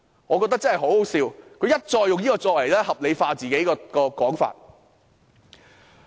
我覺得這真是很可笑，他們一再使用這個理由，合理化自己的說法。